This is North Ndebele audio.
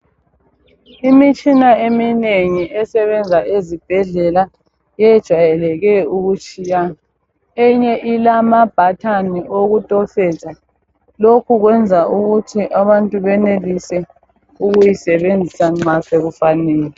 Imitshina eminengi esebenza ezibhedlela yejayeleke ukutshiyana. Eyinye ilama button okutofoza. Lokhu kwenza ukuthi abantu benelise ukuyisebenzisa nxa sokufanele.